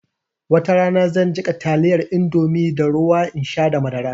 Watarana zan jiƙa taliyar indomie da ruwa in sha da madara